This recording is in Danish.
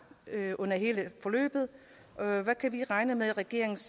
under hele forløbet hvad kan vi regne med er regeringens